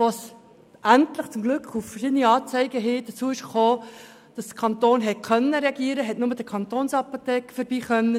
Als es dann endlich aufgrund verschiedener Anzeigen so weit kam, dass der Kanton reagieren konnte, durfte nur der Kantonsapotheker vorbei gehen.